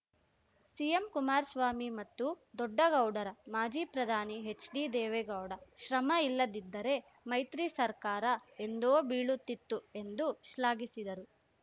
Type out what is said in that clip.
CM Kumaraswamy ಮತ್ತು ದೊಡ್ಡ ಗೌಡರ ಮಾಜಿ ಪ್ರಧಾನಿ ಎಚ್‌ಡಿದೇವೇಗೌಡ ಶ್ರಮ ಇಲ್ಲದಿದ್ದರೆ ಮೈತ್ರಿ ಸರ್ಕಾರ ಎಂದೋ ಬೀಳುತ್ತಿತ್ತು ಎಂದು ಶ್ಲಾಘಿಸಿದರು